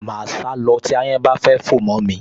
Màá sá lọ tí ááyán bá fẹ́ fò mọ́ mi